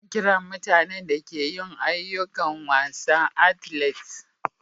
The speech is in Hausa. Ana kiran mutane da ke yin ayukokin wasa "athletes."